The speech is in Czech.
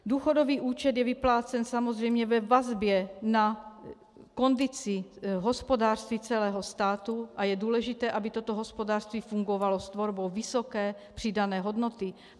Důchodový účet je vyplácen samozřejmě ve vazbě na kondici hospodářství celého státu a je důležité, aby toto hospodářství fungovalo s tvorbou vysoké přidané hodnoty.